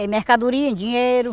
Em mercadoria, em dinheiro.